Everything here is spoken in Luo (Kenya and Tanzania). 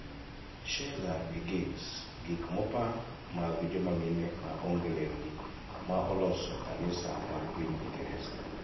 Sheela gi gigs: Gik mopa mag joma mine ma onge lewni ma oloso kanisa mag piny Ingresa